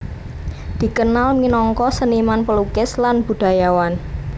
Dikenal minangka seniman pelukis lan budayawan